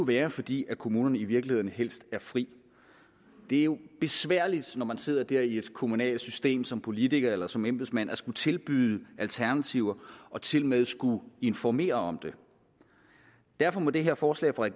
være fordi kommunerne i virkeligheden helst er fri det er jo besværligt når man sidder der i et kommunalt system som politiker eller som embedsmand at skulle tilbyde alternativer og tilmed skulle informere om det derfor må det her forslag fra